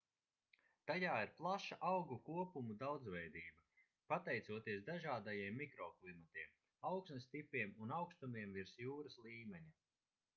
tajā ir plaša augu kopumu daudzveidība pateicoties dažādajiem mikroklimatiem augsnes tipiem un augstumiem virs jūras līmeņa